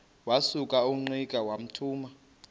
wasuka ungqika wathuma